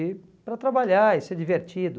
E para trabalhar e ser divertido.